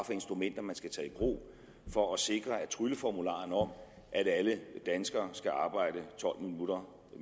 instrumenter man skal tage i brug for at sikre at trylleformularen om at alle danskere skal arbejde tolv minutter